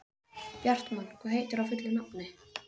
Bjartmann, hvað heitir þú fullu nafni?